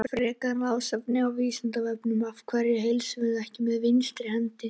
Frekara lesefni á Vísindavefnum: Af hverju heilsum við ekki með vinstri hendi?